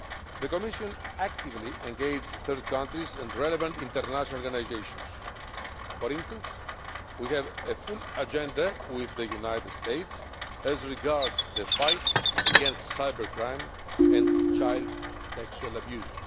The Commission has actively engaged with third countries and relevant international organisations for instance, we have a full agenda with the United States as regards the fight against cybercrime and child sexual abuse.